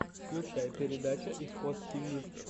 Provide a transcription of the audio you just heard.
включай передача исход тиви